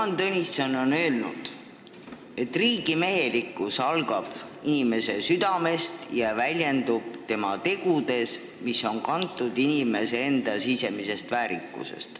Jaan Tõnisson on öelnud, et riigimehelikkus algab inimese südamest ja väljendub tema tegudes, mis on kantud inimese enda sisemisest väärikusest.